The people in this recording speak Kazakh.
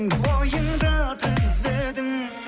бойыңды түзедің